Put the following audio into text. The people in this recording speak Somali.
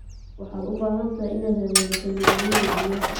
Waxaad u baahan tahay inaad hagaajiso nidaamyada biyaha.